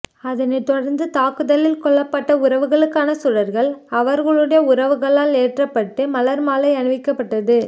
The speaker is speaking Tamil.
அதனைத் தொடர்ந்து தாக்குதலில் கொல்லப்பட்ட உறவுகளுக்கான சுடர்கள் அவர்களுடைய உறவுகளால் ஏற்றப்பட்டு மலர் மாலை அணிவிக்கப்பட்டது